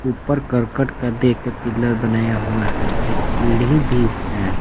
ऊपर करकट का दे के पिलर बनाया हुआ है एक सीढ़ी भी है।